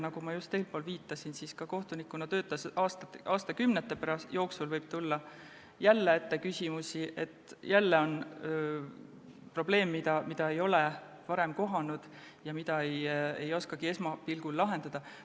Nagu ma just eespool viitasin, kohtunikuna töötades võib aastakümnete jooksul tulla ette küsimusi ja probleeme, mida ei ole varem kohanud ja mida ei oskagi esmapilgul lahendada.